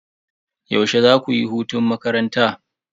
Yaushe zaku yi hutun makaranta?